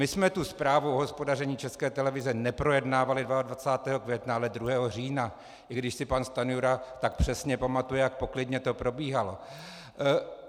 My jsme tu zprávu o hospodaření České televize neprojednávali 22. května, ale 2. října, i když si pan Stanjura tak přesně pamatuje, jak poklidně to probíhalo.